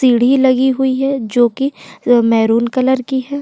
सीढ़ी लगी हुई है जो कि अ मैंहरून कलर की है।